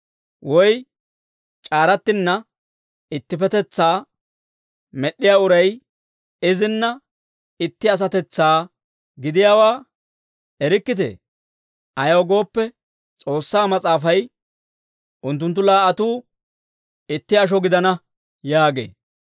Woy c'aarattinna ittipetetsaa med'd'iyaa uray izinna itti asatetsaa gidiyaawaa erikkitee? Ayaw gooppe, S'oossaa mas'aafay, «Unttunttu laa"atuu itti asho gidana» yaagee.